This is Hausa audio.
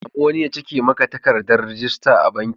Ka sami wani ya cike maka takardar rajista a banki.